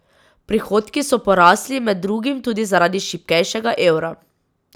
Prihodki so porasli med drugim tudi zaradi šibkejšega evra.